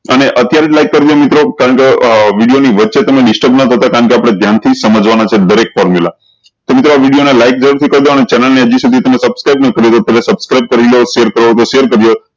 અને અત્યારે like કરજો મિત્રો કારણ કે વિડીયો ન ની વચ્ચે તમે disturb ના થતા કારણ કે આપળે ધ્યાન થી સમજવાના દરેક formula તો મિત્રો આ વિડીયો ને like જરૂર થી કરી દેવ અને channel ને હજી સુધી તમે subscribe ન કરી રેહ તો તમે subscribe કરી લો subscribe કરું હોય તો share કરજો